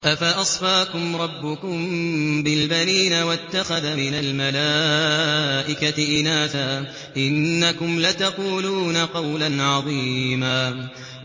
أَفَأَصْفَاكُمْ رَبُّكُم بِالْبَنِينَ وَاتَّخَذَ مِنَ الْمَلَائِكَةِ إِنَاثًا ۚ إِنَّكُمْ لَتَقُولُونَ قَوْلًا عَظِيمًا